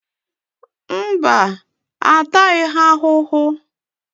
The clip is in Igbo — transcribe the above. Mba, a taghị ha ahụhụ.